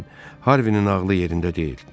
Den Harvinin ağlı yerində deyil.